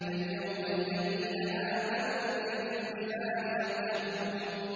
فَالْيَوْمَ الَّذِينَ آمَنُوا مِنَ الْكُفَّارِ يَضْحَكُونَ